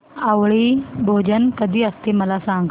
आवळी भोजन कधी असते मला सांग